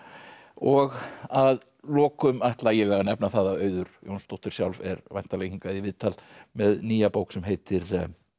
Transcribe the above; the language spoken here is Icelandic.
og að lokum ætla ég að nefna það að Auður Jónsdóttir sjálf er væntanleg hingað í viðtal með nýja bók sem heitir